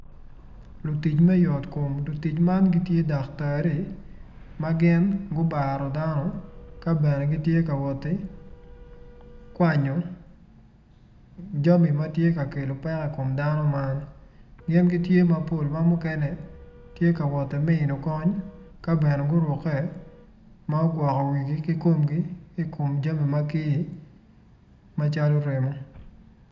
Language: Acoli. Litc me yotkom lutic man gitye daktari ma gin gubaro dano ka bene gitye ka woti kwanyo jami ma tye ka kelo peko i kom dano man gin gitye mapol ma mukene tye ka woti mino kony ka bene gurukke ma gugwoko wigi ki komgi ki i kom jami ma kir macalo remo.